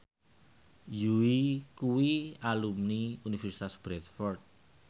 Yui kuwi alumni Universitas Bradford